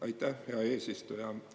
Aitäh, hea eesistuja!